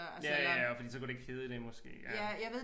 Ja ja og fordi så kunne det ikke hedde det måske eller